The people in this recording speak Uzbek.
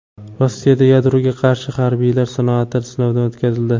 Rossiyada yadroga qarshi harbiylar soati sinovdan o‘tkazildi.